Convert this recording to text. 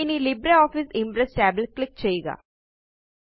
ഇനി LibreOffice Impress tab ല് click ചെയ്യുക